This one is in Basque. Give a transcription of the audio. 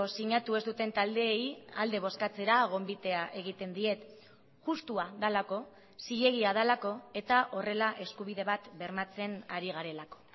sinatu ez duten taldeei alde bozkatzera gonbitea egiten diet justua delako zilegia delako eta horrela eskubide bat bermatzen ari garelako